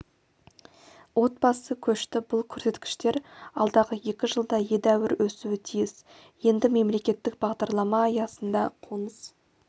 отбасы көшті бұл көрсеткіштер алдағы екі жылда едәуір өсуі тиіс енді мемлекеттік бағдарлама аясында қоныс